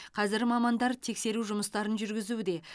қазір мамандар тексеру жұмыстарын жүргізуде